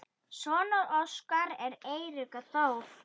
Sonur Óskars er Eiríkur Þór.